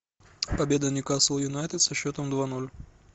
победа ньюкасл юнайтед со счетом два ноль